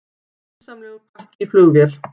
Grunsamlegur pakki í flugvél